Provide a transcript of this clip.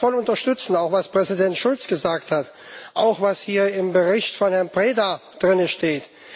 Ich kann das voll unterstützen, auch was Präsident Schulz gesagt hat, auch was hier im Bericht von Herrn Preda steht.